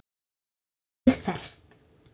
Nýmetið ferskt.